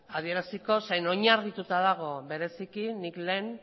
adieraziko ze oinarrituta dago bereziki nik lehen